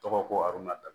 Tɔgɔ ko arɔn na